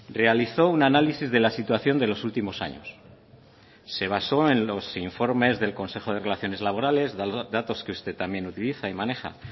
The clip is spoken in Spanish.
realizó un análisis de la situación de los últimos años se basó en los informes del consejo de relaciones laborales datos que usted también utiliza y maneja